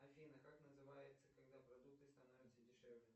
афина как называется когда продукты становятся дешевле